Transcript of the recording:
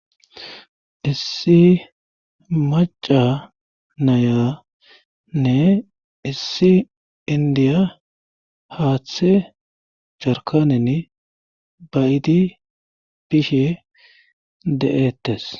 Issi maca nayanne issi indiya haaththe jarkanen bayiidi bishe de'ettes.